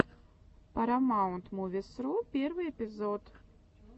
парамаунтмувисру первый эпизод